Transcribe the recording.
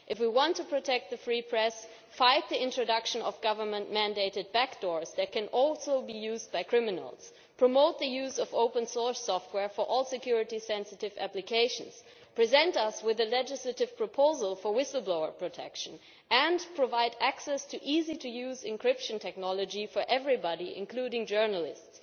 If you want to protect the free press, then fight the introduction of government mandated backdoors that can also be used by criminals, promote the use of open source software for all security sensitive applications, present us with a legislative proposal for whistleblower protection and provide access to easy to use encryption technology for everybody, including journalists.